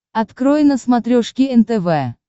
открой на смотрешке нтв